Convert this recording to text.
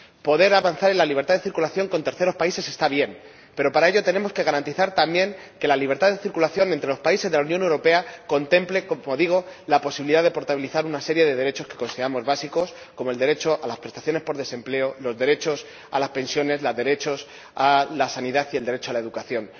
Poder avanzar en la libertad de circulación con terceros países está bien, pero para ello tenemos que garantizar también que la libertad de circulación entre los países de la Unión Europea contemple ―como digo― la posibilidad de portabilizar una serie de derechos que consideramos básicos, como el derecho a las prestaciones por desempleo, el derecho a las pensiones, el derecho a la sanidad y el derecho a la educación.